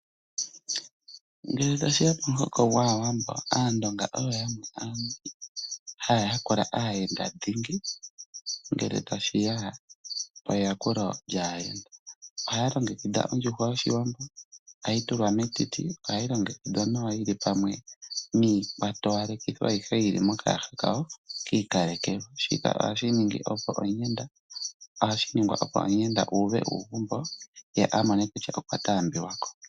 Ngele tashi ya pomuhoko gwAawambo, Aandonga oyo yamwe haya yakula aayenda dhingi ngele tashi ya peyakulo lyaayenda. Ohaya longekidha ondjuhwa yOshiwambo, ohayi tulwa metiti nohayi longekudhwa nawa yi li pamwe niikwatowalekithi ayihe yi li mokayaha ki ikalekelwa. Ohashi ningwa opo omuyenda uuve uugumbo ye amone kutya okwa tambiwa ko.